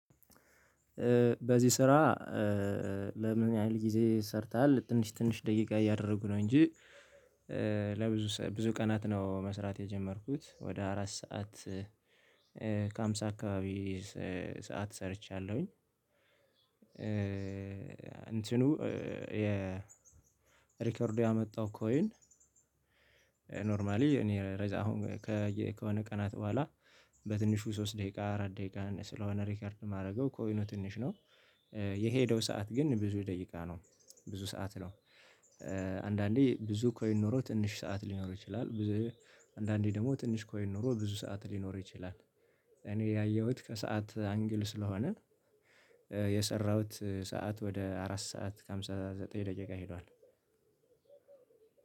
በዚህ ስራ ለምን ያህል ጊዜ ሰርተሃል? ትንሽ ትንሽ ደቂቃ እያደረጉ ነው እንጂ ለብዙ ብዙ ቀናት ነው መስራት የጀመርኩት ወደ አራት ሰዓት ከሃምሳ አካባቢ ሰዓት ሰርቻለሁኝ። እንትኑ የሪከርዱ ያመጣው ኮይን። ኖርማሊ እኔ ረዛ አሁን ከሆነ ቀናት በኋላ በትንሹ ሶስት ደቂቃ አራት ደቂቃ ስለሆነ ሪከርድ የማደርገው ኮይኑ ትንሽ ነው። የሄደው ሰዓት ግን ብዙ ደቂቃ ነው ብዙ ሰዓት ነው። አንዳንዴ ብዙ ኮይን ኖሮ ትንሽ ሰዓት ሊኖር ይችላል። ብዙ አንዳንዴ ደግሞ ትንሽ ኮይን ኖሮ ብዙ ሰዓት ሊኖር ይችላል። እኔ ያየሁት ከሰአት አንግል ስለሆነ የሰራሁት ሰዓት ወደ አራት ሰዓት ከሃምሳ ዘጠኝ ደቂቃ ሄዷል።